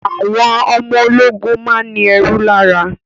Àwọn ọmọ ológun máa ń ní ẹ̀rù lára